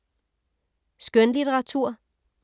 Skønlitteratur